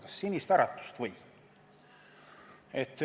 Kas Sinist Äratust?